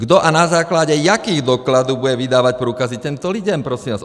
Kdo a na základě jakých dokladů bude vydávat průkazy těmto lidem, prosím vás?